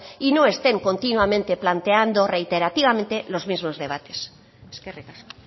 y no estén continuamente planteando reiterativamente los mismos debates eskerrik asko